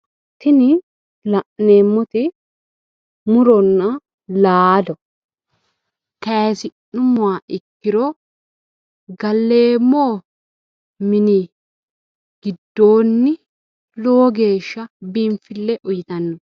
Tini la'neemmoti muronna laalo kayisi'nummoha ikkiro galleemmo mini giddoonni lowo geeshsha biinfille uyiitanno.